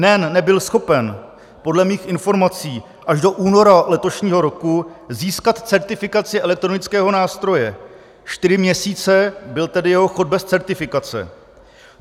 NEN nebyl schopen podle mých informací až do února letošního roku získat certifikaci elektronického nástroje, čtyři měsíce byl tedy jeho chod bez certifikace.